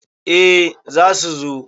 eh za su zo